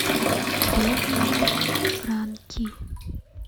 древние франки